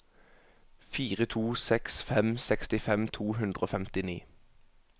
fire to seks fem sekstifem to hundre og femtini